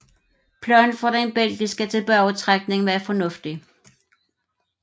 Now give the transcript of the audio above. Planen for den belgiske tilbagetrækning var fornuftig